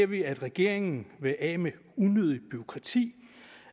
vi at regeringen vil af med unødigt bureaukrati